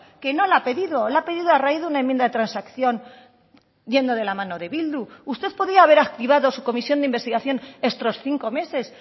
que no la ha pedido la ha pedido a raíz de una enmienda de transacción yendo de la mano de bildu usted podía haber activado su comisión de investigación estos cinco meses